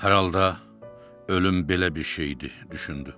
Hər halda ölüm belə bir şeydi, düşündü.